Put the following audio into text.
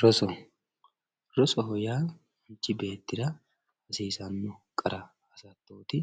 Roso, rosoho yaa manichi beettira hassiisano qara hasatooti